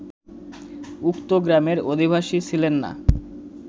উক্ত গ্রামের অধিবাসী ছিলেন না